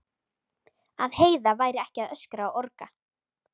Að Heiða væri ekki að öskra og orga.